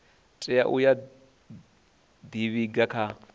tea uya u ḓivhiga kha